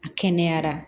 A kɛnɛyara